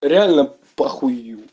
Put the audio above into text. реально похую